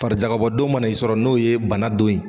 Farijakabɔ don mana ni sɔrɔ n'o ye bana don ye.